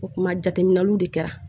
O kuma jateminɛliw de kɛra